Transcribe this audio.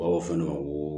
o fɛnɛ o